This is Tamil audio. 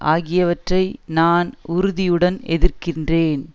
ஆகியவற்றை நான் உறுதியுடன் எதிர்க்கிறேன்